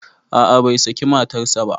A'a bai saki matarsa ba